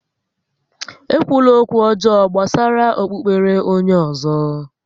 E kwula ókwú ọjọọ gbásárá okpukpere onyé ọ̀zọ́!